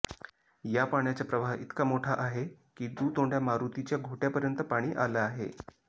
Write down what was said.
या पाण्याचा प्रवाह इतका मोठा आहे की दुतोंडया मारुतीच्या घोट्यापर्यंत पाणी आलं आहे